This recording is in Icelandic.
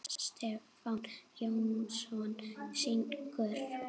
Stefán Jónsson syngur.